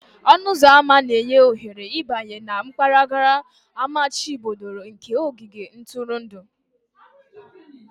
Ọnụ ụzọ ámá na-enye ohere ịbanye na mpaghara amachibidoro nke ogige ntụrụndụ.